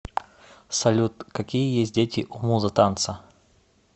салют какие есть дети у муза танца